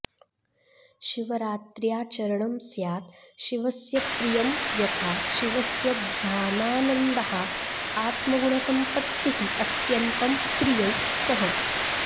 शिवरात्र्याचरणं स्यात् शिवस्य प्रियं यथा शिवस्य ध्यानानन्दः आत्मगुणसम्पत्तिः अत्यन्तं प्रियौ स्तः